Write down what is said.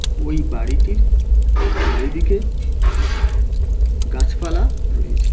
ওই বাড়িটির ঐদিকে গাছপালা রয়েছে।